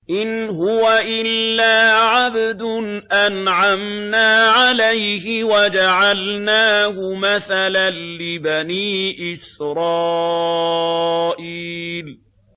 إِنْ هُوَ إِلَّا عَبْدٌ أَنْعَمْنَا عَلَيْهِ وَجَعَلْنَاهُ مَثَلًا لِّبَنِي إِسْرَائِيلَ